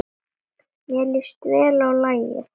Mér líst vel á lagið.